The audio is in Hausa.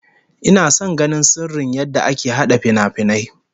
Ina son ganin sirrin yadda aka hada finafinai